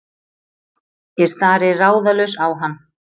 Ég stari ráðalaus á hann.